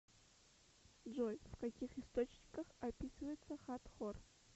джой в каких источниках описывается хатхор